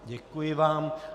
Děkuji vám.